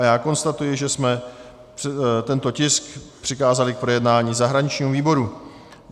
A já konstatuji, že jsme tento tisk přikázali k projednání zahraničnímu výboru.